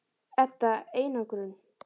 Edda: Einangrun?